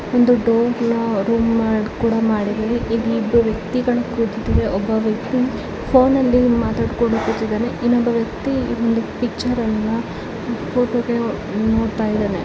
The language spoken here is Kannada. ಒಂದು ಡೋರ್ ನ ರೂಮ್ ನ ಸಹ ಮಾಡಿದ್ದಾರೆ ಇಲ್ಲಿ ಇಬ್ಬರು ವ್ಯಕ್ತಿಗಳು ಕೂತಿದಾರೆ ಒಬ್ಬ ವ್ಯಕ್ತಿ ಫೋನ್ ನಲ್ಲಿ ಮಾತಾಡ್ತಾಯಿದಾನೆ ಇನ್ನೊಬ ವ್ಯಕ್ತಿ ಇನ್ನೊಂದು ಪಿಕ್ಚರ್ ಫೋಟ ವನ್ನ ನೋಡ್ತಿದಾನೆ.